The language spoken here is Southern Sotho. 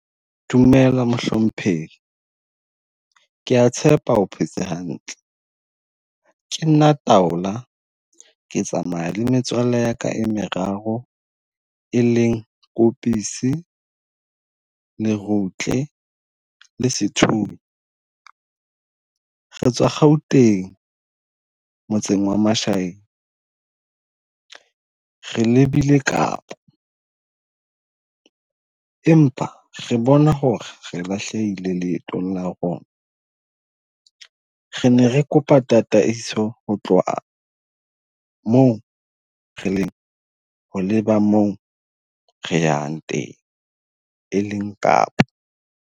Dumela mohlomphehi kea tshepa o phetse hantle. Ke nna Taola ke tsamaya le metswalle ya ka meraro e leng Koposi, Lerutle la Sethunya. Re tswa Gauteng motseng wa Mashayeng re lebile Kapa. Empa re bona hore re lahlehile leetong la rona re ne re kopa tataiso ho tloha moo re leng ho leba mo re yang teng e leng Kapa.